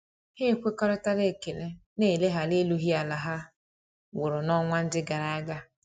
Ha ekwekoritara ekele na eleghara erughi ala ha wụrụ na-onwa ndi agaraga.